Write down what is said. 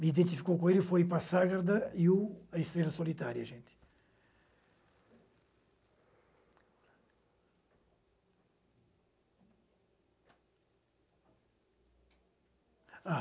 Me identificou com ele e foi ir para a Sagrada e a Estrela Solitária.